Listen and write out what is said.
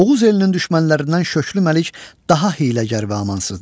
Oğuz elinin düşmənlərindən Şöklü Məlik daha hiyləgər və amansızdır.